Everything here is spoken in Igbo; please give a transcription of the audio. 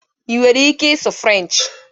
Ị nwere ike ịsụ Frenchị?